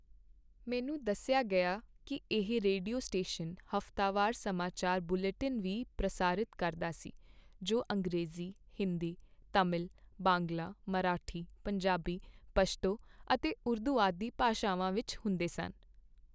ਮੈਨੂੰ ਦੱਸਿਆ ਗਿਆ ਕੀ ਇਹ ਰੇਡੀਓ ਸਟੇਸ਼ਨ ਹਫ਼ਤਾਵਾਰ ਸਮਾਚਾਰ ਬੁਲੇਟਿਨ ਵੀ ਪ੍ਰਸਾਰਿਤ ਕਰਦਾ ਸੀ ਜੋ ਅੰਗਰੇਜ਼ੀ, ਹਿੰਦੀ, ਤਮਿਲ, ਬਾਂਗਲਾ, ਮਰਾਠੀ, ਪੰਜਾਬੀ, ਪਸ਼ਤੋ ਅਤੇ ਉਰਦੂ ਆਦਿ ਭਾਸ਼ਾਵਾਂ ਵਿੱਚ ਹੁੰਦੇ ਸਨ।